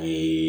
A ye